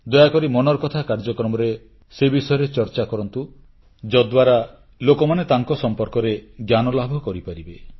ଦୟାକରି ମନ୍ କି ବାତ୍ କାର୍ଯ୍ୟକ୍ରମରେ ସେ ବିଷୟରେ ଚର୍ଚ୍ଚା କରନ୍ତୁ ଯଦ୍ଦ୍ୱାରା ଲୋକମାନେ ତାଙ୍କ ସମ୍ପର୍କରେ ଜ୍ଞାନଲାଭ କରିପାରିବେ